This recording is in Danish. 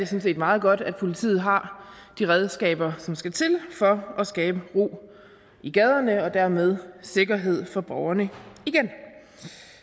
set meget godt at politiet har de redskaber som skal til for at skabe ro i gaderne og dermed sikkerhed for borgerne igen